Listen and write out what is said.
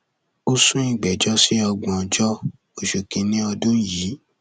ó sún ìgbẹjọ sí ògbóńjọ oṣù kínínní ọdún yìí